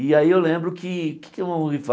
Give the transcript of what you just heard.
E aí eu lembro que... O que é que vamos rifar?